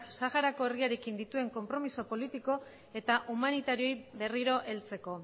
saharako herriarekin dituen konpromezu politiko eta humanitarioei berriro heltzeko